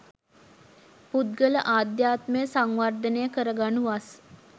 පුද්ගල අධ්‍යාත්මය සංවර්ධනය කරගනු වස්